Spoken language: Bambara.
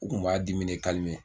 O kun b'a dimi ne